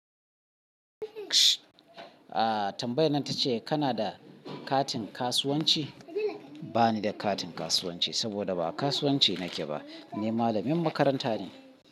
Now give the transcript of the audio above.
Ah tambayan ta ce kana da katin kasuwanci? Ba ni da katin kasuwanci, saboda ba kasuwanci nake ba. Ni malamin makaranta ne.